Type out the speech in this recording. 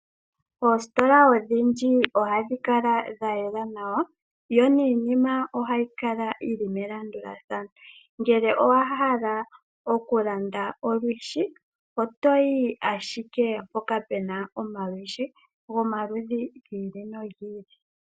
Oositola odhindji ohadhi kala dhayela nawa, yo niinima ohayi kala yili melandulathano. Ngele owahala okulanda olwishi, otoyi ashike mpoka puna omalwishi gomaludhi gi ili nogi ili.